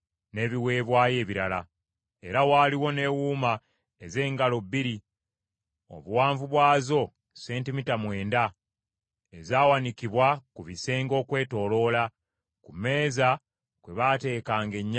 Era waaliwo n’ewuuma ez’engalo bbiri, obuwanvu bwazo sentimita mwenda, ezaawanikibwa ku bisenge okwetooloola. Ku mmeeza kwe baatekanga ennyama ey’ebiweebwayo.